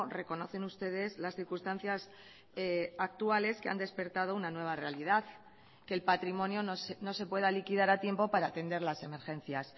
reconocen ustedes las circunstancias actuales que han despertado una nueva realidad que el patrimonio no se pueda liquidar a tiempo para atender las emergencias